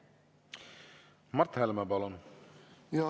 Mart Helme, palun!